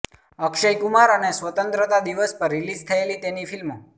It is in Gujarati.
અક્ષય કુમાર અને સ્વતંત્રતા દિવસ પર રિલીઝ થયેલી તેની ફિલ્મો